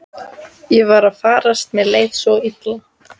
Ég var að farast, mér leið svo illa.